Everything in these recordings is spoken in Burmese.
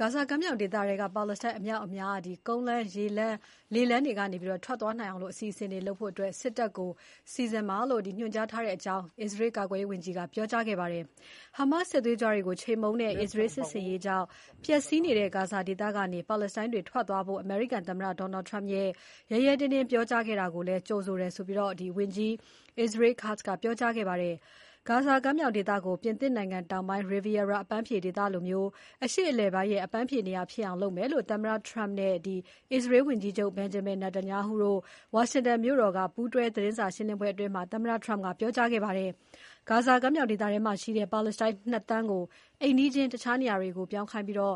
ဂါဇာကမ်းမြောင်ဒေသထဲက ပါလက်စတိုင်းအမြောက်အများ ကုန်းလမ်း၊ ရေလမ်း၊ လေလမ်းတွေ ကနေ ထွက်သွားနိုင်အောင် အစီအစဉ်တွေလုပ်ဖို့ စစ်တပ်ကို ညွှန်ကြားထားတယ်လို့ အစ္စရေးကာကွယ်ရေးဝန်ကြီးက ပြောပါတယ်။ Hamas စစ်သွေးကြွတွေကို ချေမှုန်းတဲ့ အစ္စရေးစစ်ဆင်ရေးကြောင့် ပျက်စီးနေတဲ့ ဂါဇာဒေသကနေ ပါလက်စတိုင်းတွေ ထွက်သွားဖို့ အမေရိကန်သမ္မတ Donald Trump က ရဲရဲတင်းတင်း ပြောကြားခဲ့ တာကိုလည်း ကြိုဆိုတယ်လို့ ဝန်ကြီး Israel Katz ကပြောကြားခဲ့ပါတယ်။ ဂါဇာကမ်းမြောင်ဒေသကို ပြင်သစ်တောင်ပိုင်း Riviera အပန်းဖြေဒေသလိုမျိုး အရှေ့အလယ်ပိုင်းရဲ့ အပန်းဖြေနေရာဖြစ်အောင် လုပ်မယ်လို့ သမ္မတ Trump နဲ့ အစ္စရေးဝန်ကြီးချုပ် Benjamin Netanyahu တို့ ဝါရှင်တန်မြို့တော်က ပူးတွဲသတင်းစာရှင်းပွဲမှာ ပြောကြားခဲ့တာပါ။ ဂါဇာကမ်းမြောင်ဒေသထဲမှာရှိတဲ့ ပါလက်စတိုင်း ၂ သန်းက ို အိမ်နီးချင်းတခြားနေရာတွေကို ပြောင်းခိုင်းပြီး ဂါ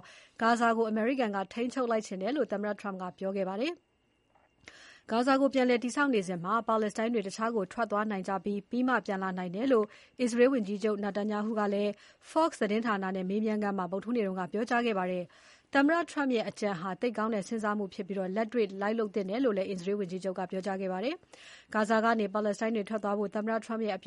ဇာဒေသကို အမေရိကန်က ထိန်းချုပ် လိုက်ချင်တယ်လို့ သမ္မတ Trump ကပြောခဲ့တာပါ။ ဂါဇာကို ပြန်လည်တည်ဆောက်နေစဉ် ပါလက်စတိုင်းတွေ တခြားကို ထွက်သွားနိုင်ကြပြီး ပြီးမှ ပြန်လာနိုင်တယ်လို့ အစ္စရေးဝန်ကြီးချုပ် Netanyahu ကလည်း Fox သတင်းဌာနနဲ့ မေးမြန်းခန်းမှာ ဗုဒ္ဓဟူးနေ့က ပြောကြားလိုက်ပါတယ်။ သမ္မတ Trump ရဲ့အကြံဟာ သိပ်ကောင်းတဲ့ စဉ်းစားမှုဖြစ်ပြီး လက်တွေ့လိုက်လုပ်သင့်တယ်လို့ အစ္စရေးဝန်ကြီးချုပ်က ပြောကြားလိုက်ပါတယ်။ ဂါဇာကနေ ပါလက်စတိုင်းတွေထွက်သွားကြဖို့ သမ္မတ Trump ရဲ့ အ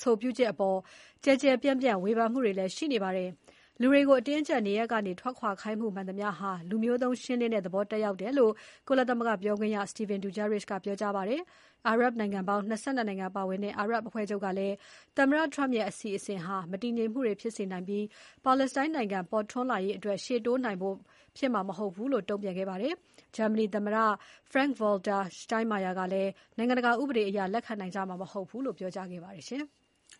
ဆိုပြုချက်အပေါ် ကျယ်ကျယ် ပြန့်ပြန့် ဝေဖန်မှုတွေလည်း ရှိနေပါတယ်။ လူတွေကို အတင်းအကျပ် နေရပ်ကနေ ထွက်ခွာခိုင်းမှု မှန်သမျှဟာ လူမျိုးသုဉ်းရှင်းလင်းတဲ့သဘောသက်ရောက်တယ်လို့ ကုလသမဂ္ဂပြောခွင့်ရ Stephane Dujarric ကပြောကြားခဲ့ပါတယ်။ အာရပ်နိုင်ငံပေါင်း ၂၂ နိုင်ငံပါဝင်တဲ့ အာရပ်အဖွဲ့ချုပ်ကလည်း သမ္မတ Trump ရဲ့ အစီအစဉ်ဟာ မတည်ငြိမ်မှုတွေဖြစ်စေနိုင်ပြီး ပါလက်စတိုင်းနိုင်ငံ ပေါ်ထွန်းလာရေးကို ရှေ့တိုးလုပ်နိုင်မှာ မဟုတ်ဘူးလို့ တုံ့ပြန်ခဲ့ပါတယ်။ ဂျာမနီသမ္မတ Frank-Walter Steinmeier ကလည်း နိုင်ငံတကာ ဥပဒေအရ လက်ခံနိုင်ကြမှာ မဟုတ်ဘူးလို့ ပြောကြားခဲ့ပါတယ်။